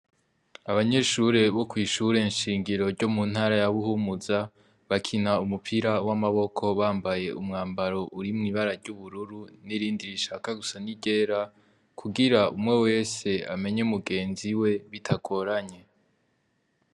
Abanyeshure bo kwishure nshingiro ryo muntara ya Buhumuza ,bakina umupira w'amaboko bambaye umwambaro urimwo ibara ry'ubururu, n'irindi rishaka gusa n'iryera, kugira umwe wese amenye mugenziwe bitagoranye.